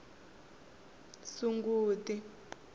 sunguti